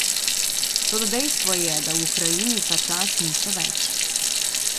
Toda dejstvo je, da v Ukrajini tačas niso več.